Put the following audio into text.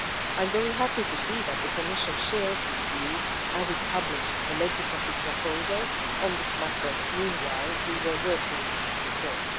I am very happy to see that the Commission shares this view as it published a legislative proposal on this matter while we were working on this report.